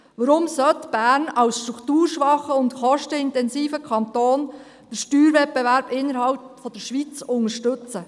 Warum soll Bern als strukturschwacher und kostenintensiver Kanton den Steuerwettbewerb innerhalb der Schweiz unterstützen?